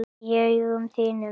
Í augum þínum.